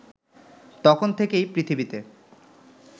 তখন থেকেই পৃথিবীতে